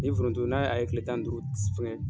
Ni foronto n'a a ye kile tan duuru